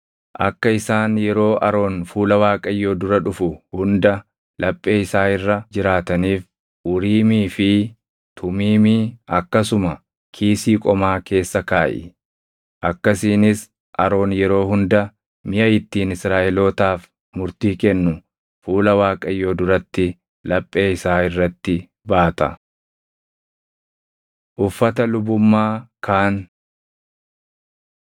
Akka isaan yeroo Aroon fuula Waaqayyoo dura dhufu hunda laphee isaa irra jiraataniif Uriimii fi Tumiimii akkasuma kiisii qomaa keessa kaaʼi. Akkasiinis Aroon yeroo hunda miʼa ittiin Israaʼelootaaf murtii kennu fuula Waaqayyoo duratti laphee isaa irratti baata. Uffata Lubummaa Kaan 28:31‑43 kwf – Bau 39:22‑31